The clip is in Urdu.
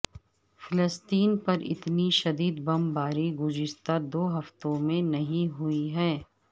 فلسطین پر اتنی شدید بمباری گزشتہ دو ہفتوں میں نہیں ہوئی ہے